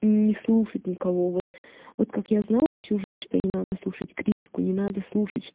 не слушать никого вот вот как я знала всю жизнь что не надо слушать критику не надо слушать чт